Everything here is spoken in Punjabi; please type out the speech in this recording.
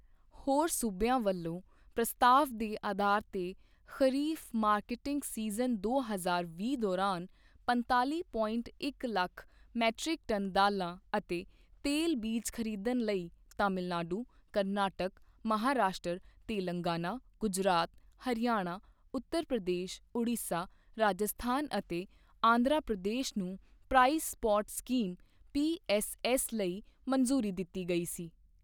ਹੋਰ ਸੂਬਿਆਂ ਵੱਲੋਂ ਪ੍ਰਸਤਾਵ ਦੇ ਅਧਾਰ ਤੇ ਖਰੀਫ ਮਾਰਕੀਟਿੰਗ ਸੀਜ਼ਨ ਦੋ ਹਜ਼ਾਰ ਵੀਹ ਦੌਰਾਨ ਪੰਤਾਲੀ ਪੋਇੰਟ ਇੱਕ ਲੱਖ ਮੀਟਰਕ ਟਨ ਦਾਲਾਂ ਅਤੇ ਤੇਲ ਬੀਜ ਖਰੀਦਣ ਲਈ ਤਾਮਿਲਨਾਡੂ, ਕਰਨਾਟਕ, ਮਹਾਂਰਾਸ਼ਟਰ, ਤੇਲੰਗਾਨਾ, ਗੁਜਰਾਤ, ਹਰਿਆਣਾ, ਉੱਤਰ ਪ੍ਰਦੇਸ, ਉੜੀਸਾ, ਰਾਜਸਥਾਨ ਅਤੇ ਆਂਧਰਾ ਪ੍ਰਦੇਸ ਨੂੰ ਪ੍ਰਾਈਸ ਸਪੋਟ ਸਕੀਮ ਪੀ.ਐਸ.ਐਸ. ਲਈ ਮੰਨਜੂਰੀ ਦਿੱਤੀ ਗਈ ਸੀ।